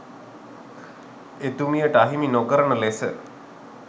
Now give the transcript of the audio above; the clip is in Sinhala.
එතුමියට අහිමි නොකරන ලෙස